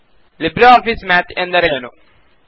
Libre office Math ಎಂದರೆ ಏನು